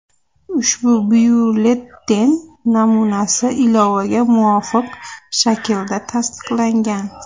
Ushbu byulleten namunasi ilovaga muvofiq shaklda tasdiqlangan.